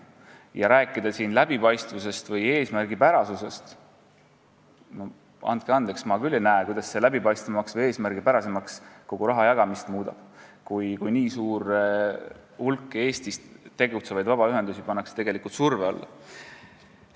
Ja rääkida siin suuremast läbipaistvusest või eesmärgipärasusest – no andke andeks, ma küll ei näe, kuidas see muudab kogu rahajagamise läbipaistvamaks või eesmärgipärasemaks, kui nii suur hulk Eestis tegutsevaid vabaühendusi pannakse tegelikult surve alla.